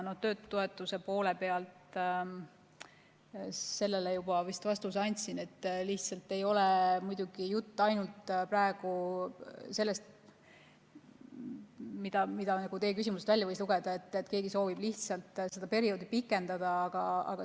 Töötutoetuse poole pealt ma vist juba andsin vastuse, et muidugi ei ole jutt praegu ainult sellest, nagu teie küsimusest välja võis lugeda, et keegi soovib lihtsalt seda perioodi pikendada.